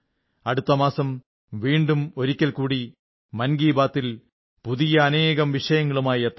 അടുത്ത മാസം വീണ്ടും ഒരിക്കൽകൂടി മൻ കീ ബാത്തിൽ പുതിയ അനേകം വിഷയങ്ങളുമായി എത്താം